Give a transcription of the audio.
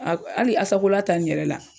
A hali Asakola ta nin yɛrɛ la